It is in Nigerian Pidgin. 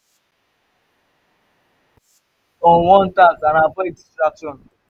me na to na to focus on one task and avoid distraction.